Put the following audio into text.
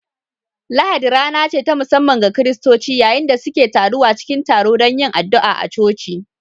Lahadi rana ce ta musamman ga Kiristoci, yayin da suke taruwa cikin taro don yin addu’a a coci